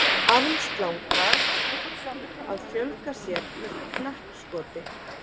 Armslanga að fjölga sér með knappskoti.